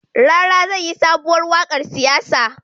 Rara zai yi sobuwar waƙar siyasa